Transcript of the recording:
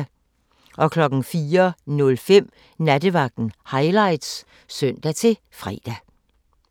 04:05: Nattevagten Highlights (søn-fre)